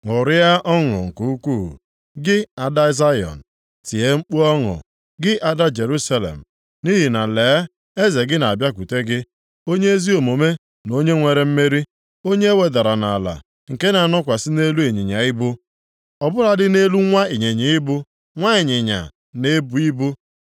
Ṅụrịa ọṅụ nke ukwuu, gị Ada Zayọn! Tie mkpu ọṅụ, gị Ada Jerusalem! Nʼihi na lee, eze gị na-abịakwute gị, onye ezi omume na onye nwere mmeri, onye ewedara nʼala, nke na-anọkwasị nʼelu ịnyịnya ibu, ọ bụladị nʼelu nwa ịnyịnya ibu, nwa ịnyịnya na-ebu ibu.